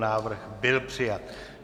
Návrh byl přijat.